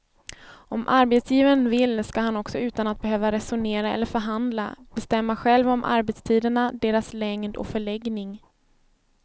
Om arbetsgivaren vill ska han också utan att behöva resonera eller förhandla bestämma själv om arbetstiderna, deras längd och förläggning.